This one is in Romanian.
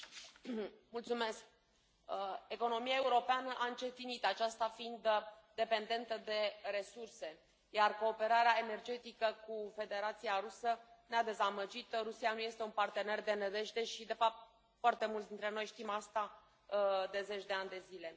Domnule președinte, economia europeană a încetinit, aceasta fiind dependentă de resurse, iar cooperarea energetică cu Federația Rusă ne a dezamăgit, deoarece Rusia nu este un partener de nădejde și, de fapt, foarte mulți dintre noi știm asta de zeci de ani de zile.